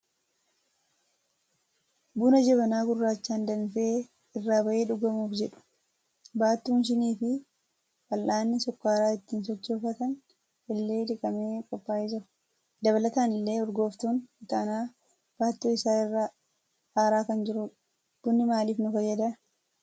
Buna jabanaa gurraachaan danfee irraa bahee dhugamuuf jedhu. Baattuun shinii fi fal'aanni sukkaara ittiin sochoofatan illee dhiqamee qophaa'ee jira. Dabalataan illee urgooftuun ixaanaa baattuu isaa irraa aaraa kan jirudha. Bunni maaliif nu fayyada?